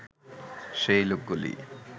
সেই লোকগুলি